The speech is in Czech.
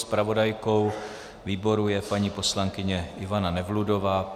Zpravodajkou výboru je paní poslankyně Ivana Nevludová.